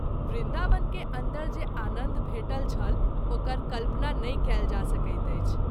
वृन्दावन के अन्दर जे आनन्द भेटल छल ओकर कल्पना नहि कएल जा सकैत अछि।